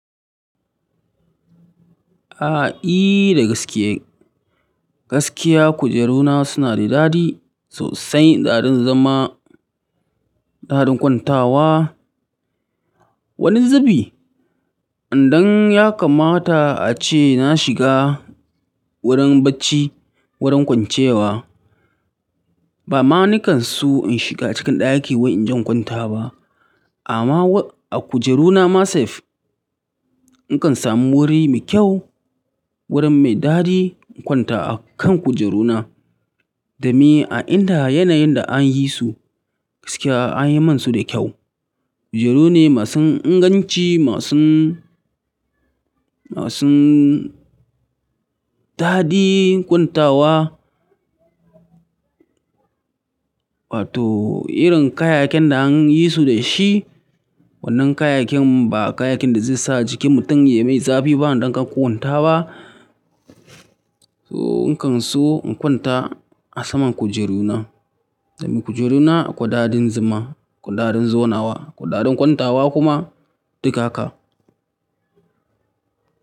A'a, i, d gaske, gaskiya kujeru na suna da dadi sosai, daɗin zama, daɗin kwantawa. Wani zubi, idan ya kamata ace na shiga wurin bacci, wurin kwancewa, ba ma nikan so in shiga cikin ɗaki wai in je in kwanta ba. Amma a kujeru na ma safe, in kan samu wuri mai kyau, wurin mai dadi in kwanta a kan kujeruna. Domin a inda yanayin da an yi su, gaskiya an yi man su da kyau. Kujeru ne masu inganci, masu, masu dadi kwantawa. Wato irin kayayakin da an yi su da shi, wannan kayakin ba kayakin da zai sa jikin mutum ya mai zafi ba idan kan kwanta ba. To in kan so in kwanta a saman kujeru na, domin kujeruna akwai dadin zama, akwi dadin zonawa, akwai dadin kwantawa kuma duka haka.